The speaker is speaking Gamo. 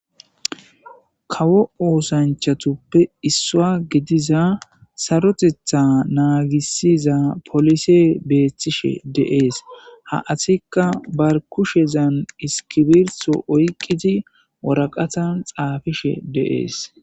kawo oosanchatuppe issuwa gidiza sarotetha naagissiza polise beethtishe deees ha asikka bar kushezan iskibirtho oyqiti woraqatan xaafishe de7ees